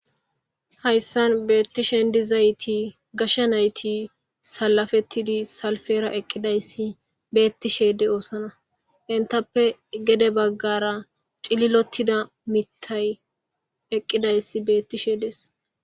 hayssan beettishendizayti gashsha nayti salafettidi salfera eqqidayssi beettishede oosana intappe gede baggara cililottida mitay eqqidayssi beettishedees